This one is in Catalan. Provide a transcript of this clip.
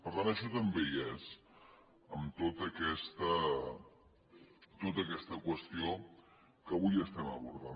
per tant això també hi és en tota aquesta qüestió que avui estem abordant